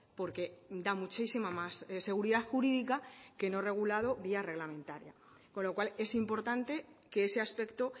porque da muchísima más seguridad jurídica que no regulado vía reglamentaria con lo cual es importante que ese aspecto